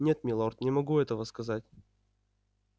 нет милорд не могу этого сказать